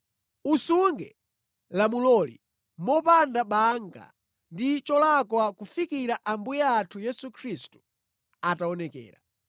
Usunge lamuloli mopanda banga ndi cholakwa kufikira Ambuye athu Yesu Khristu ataonekera.